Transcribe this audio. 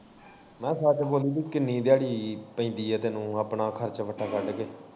ਮੈਂ ਕਿਹਾ ਸੱਚ ਬੋਲੀ ਕਿ ਕਿੰਨੀ ਦਿਆੜੀ ਪੈਂਦੀ ਐ ਤੈਨੂੰ ਆਪਣਾ ਖਰਚਾ ਵੱਟਾਂ ਕੱਢ ਕੇ?